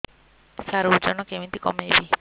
ସାର ଓଜନ କେମିତି କମେଇବି